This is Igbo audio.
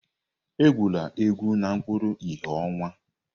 Egwula egwu n'okpuru ìhè ọnwa!